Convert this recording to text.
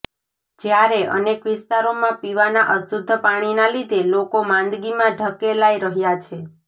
જ્યારે અનેક વિસ્તારોમાં પીવાના અશુદ્ધ પાણીના લીધે લોકો માંદગીમાં ધકેલાઇ રહ્યા છે